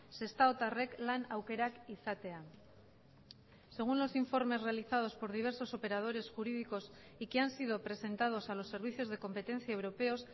sestaotarrek lan aukerak izatea según los informes realizados por diversos operadores jurídicos y que han sido presentados a los servicios de competencia europeos